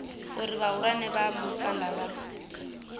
uri vhahulwane vha musanda vha